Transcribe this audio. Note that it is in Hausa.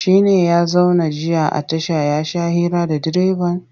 Shi ne ya zauna jiya a tasha ya sha hira da direban?